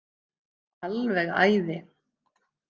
Alveg æði.